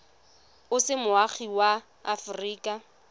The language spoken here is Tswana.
o se moagi wa aforika